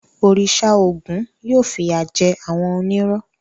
Òrìṣà Ògún yóò fìyà jẹ àwọn onírọ́.